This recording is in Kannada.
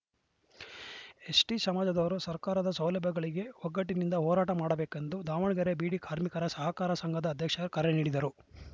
ಎಸ್‌ಟಿ ಸಮಾಜದವರು ಸರ್ಕಾರದ ಸೌಲಭ್ಯಗಳಿಗೆ ಒಗ್ಗಟ್ಟಿನಿಂದ ಹೋರಾಟ ಮಾಡಬೇಕೆಂದು ದಾವಣಗೆರೆ ಬೀಡಿ ಕಾರ್ಮಿಕರ ಸಹಕಾರ ಸಂಘದ ಅಧ್ಯಕ್ಷ ಕರೆ ನೀಡಿದರು